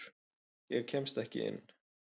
Ég kemst ekki inn.